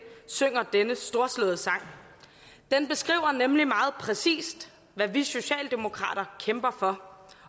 synger denne storslåede sang den beskriver nemlig meget præcist hvad vi socialdemokrater kæmper for